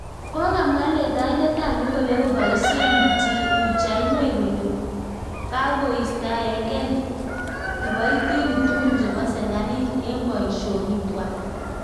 Kakomwaa letaindet ap logoiwek kopaisein pichainik kole kakoistaengei kipoitinik tugul chepo serkalit eng poishonik kwai